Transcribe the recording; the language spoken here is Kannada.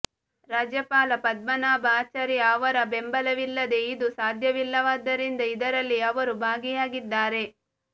ರಾಜ್ಯಪಾಲ ಪದ್ಮನಾಭ ಆಚಾರ್ಯ ಅವರ ಬೆಂಬಲವಿಲ್ಲದೇ ಇದು ಸಾಧ್ಯವಿಲ್ಲವಾದ್ದರಿಂದ ಇದರಲ್ಲಿ ಅವರು ಭಾಗಿಯಾಗಿದ್ದಾರೆ